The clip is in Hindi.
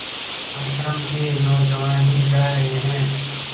आश्रम के नौजवान ही जा रहे हैं